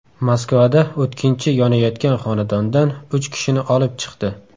Moskvada o‘tkinchi yonayotgan xonadondan uch kishini olib chiqdi.